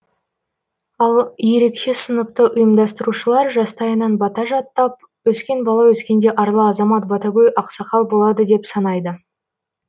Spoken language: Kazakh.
ал ерекше сыныпты ұйымдастырушылар жастайынан бата жаттап өскен бала өскенде арлы азамат батагөй ақсақал болады деп санайды